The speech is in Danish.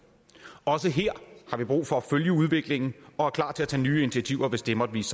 også her har vi brug for at følge udviklingen og er klar til at tage nye initiativer hvis det måtte vise